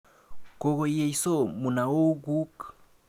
Kokoyesyo munaok kuk?